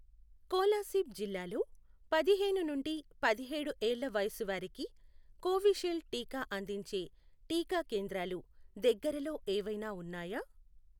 కోలాసీబ్ జిల్లాలో పదిహేను నుండి పదిహేడు ఏళ్ల వయసువారికి కోవిషీల్డ్ టీకా అందించే టీకా కేంద్రాలు దగ్గరలో ఏవైనా ఉన్నాయా?